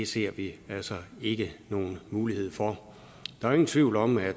ser vi altså ikke nogen mulighed for der er ingen tvivl om at